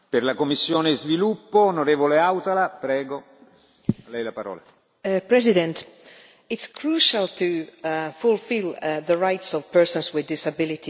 Mr President, it is crucial to fulfil the rights of persons with disabilities in the European Union's development and humanitarian action.